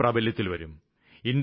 ഉടനെ പ്രാബല്യത്തില്വരും